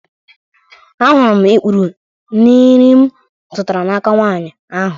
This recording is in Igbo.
Ahụrụ m ikpuru n'nri m zụtara n'aka nwanyị ahụ